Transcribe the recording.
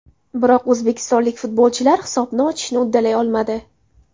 Biroq o‘zbekistonlik futbolchilar hisobni ochishni uddalay olmadi.